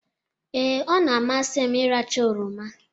Ee, ọ na-amasị m ịracha oroma.